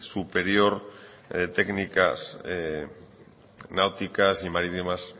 superior de técnicas náuticas y marítimas